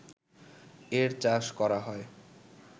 এর চাষ করা হয়